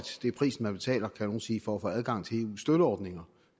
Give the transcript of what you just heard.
det er prisen man betaler vil nogle sige for at få adgang til eus støtteordninger